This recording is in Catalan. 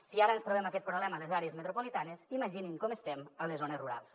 si ara ens trobem aquest problema a les àrees metropolitanes imaginin com estem a les zones rurals